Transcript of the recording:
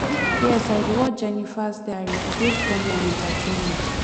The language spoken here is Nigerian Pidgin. yes i dey watch jenifas diary e dey funny and entertaining